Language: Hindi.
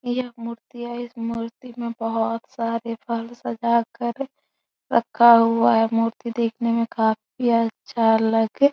यह मूर्ति है। इस मूर्ति में बहोत सारे फल सजा कर रखा हुआ है। मूर्ति देखने मै काफी अच्छा लग --